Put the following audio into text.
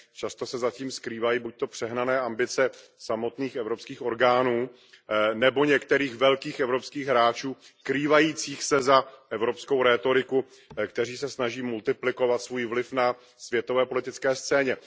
Často se za tím skrývají buďto přehnané ambice samotných evropských orgánů, nebo některých velkých evropských hráčů skrývajících se za evropskou rétoriku, kteří se snaží multiplikovat svůj vliv na světové politické scéně.